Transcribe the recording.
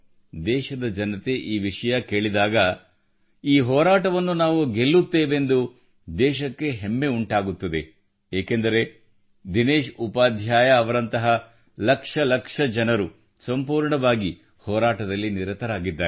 ದೇಶದ ಜನತೆ ಈ ವಿಷಯ ಕೇಳಿದಾಗ ಈ ಹೋರಾಟವನ್ನು ನಾವು ಗೆಲ್ಲುತ್ತೇವೆಂದು ದೇಶಕ್ಕೆ ಹೆಮ್ಮೆ ಉಂಟಾಗುತ್ತದೆ ಏಕೆಂದರೆ ದಿನೇಶ್ ಉಪಾಧ್ಯಾಯರಂತಹ ಲಕ್ಷ ಲಕ್ಷ ಜನರು ಸಂಪೂರ್ಣವಾಗಿ ಹೋರಾಟದಲ್ಲಿ ನಿರತರಾಗಿದ್ದಾರೆ